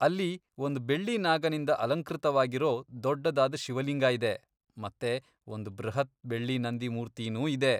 ಅಲ್ಲಿ ಒಂದ್ ಬೆಳ್ಳಿ ನಾಗನಿಂದ ಅಲಂಕೃತವಾಗಿರೋ ದೊಡ್ಡದಾದ್ ಶಿವಲಿಂಗ ಇದೆ, ಮತ್ತೆ ಒಂದ್ ಬೃಹತ್ ಬೆಳ್ಳಿ ನಂದಿ ಮೂರ್ತಿನೂ ಇದೆ.